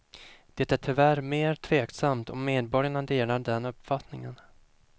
Det är tyvärr mer tveksamt om medborgarna delar den uppfattningen.